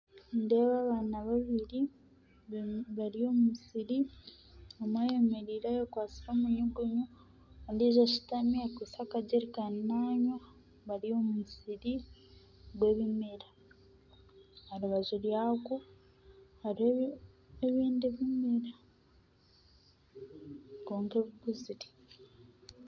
Nindeeba abaana babiri bari omu musiri omwe ayemereire ayekwatsire omunyugunyu ondiijo ashutami akwaitse akajerikani nanywa bari omu musiri gw'ebimera aha rubaju rwagwo hariho ebindi ebimera kwonka bikuzire